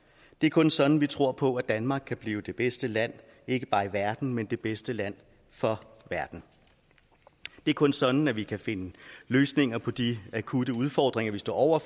det er kun sådan vi tror på at danmark kan blive det bedste land ikke bare i verden men det bedste land for verden det er kun sådan at vi kan finde løsninger på de akutte udfordringer vi står over